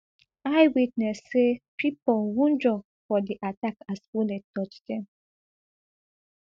eyewitness say pipo wunjure for di attack as bullet touch dem